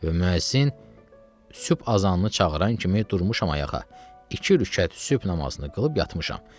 Və müəzzin sübh azanını çağıran kimi durmuşam ayağa, iki rükət sübh namazını qılıb yatmışam.